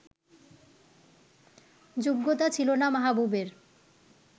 যোগ্যতা ছিল না মাহবুবের